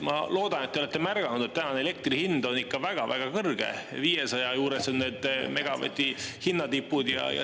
Ma loodan, et te olete märganud, et tänane elektri hind on ikka väga-väga kõrge – 500 juures on need megavati hinnatipud.